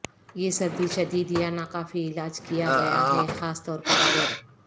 یہ سردی شدید یا ناکافی علاج کیا گیا ہے خاص طور پر اگر